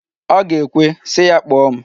Ọ ga-ekwe, sị ya kpọọ m.